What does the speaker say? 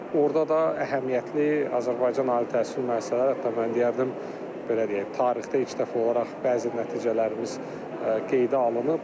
Orda da əhəmiyyətli Azərbaycan ali təhsil müəssisələri, hətta mən deyərdim ki, belə deyək, tarixdə ilk dəfə olaraq bəzi nəticələrimiz qeydə alınıb.